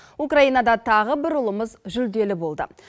украинада тағы бір ұлымыз жүлделі болды